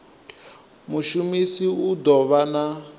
mushumisi u ḓo vha na